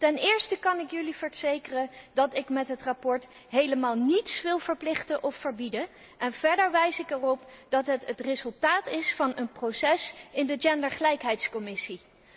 Ten eerste kan ik jullie verzekeren dat ik met het verslag helemaal niets wil verplichten of verbieden, en verder wijs ik erop dat het het resultaat is van een proces in de gendergelijkheidscommissie.